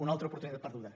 una altra oportunitat perduda